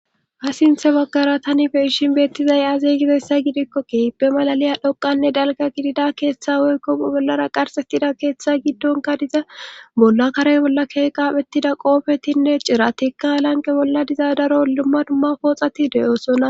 Ha sinthe baggara tani be ishin beettizay azeygideyssa gidikko kehippe malaliya dhoqanne dalga gidida keeththa woykkomu bollara qarxettida keeththa giddonka diza bolla karey bolla kee qaphettida qoofetinne ciratikka lanqe bolla diza daro limma dumma pooxati de7oosonna.